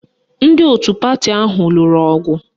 Ndị otu pati ahụ lụrụ ọgụ